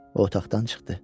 O otaqdan çıxdı.